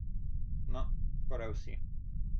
No, skoraj vsi.